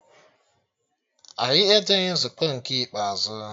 Anyị ejeghị nzukọ nke ikpeazụ